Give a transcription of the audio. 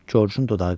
Corcun dodağı qaşdı.